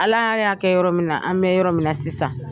Ala y'a kɛ yɔrɔ min na an bɛ yɔrɔ min sisan